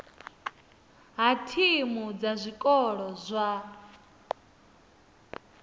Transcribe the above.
ha thimu dza zwikolo zwa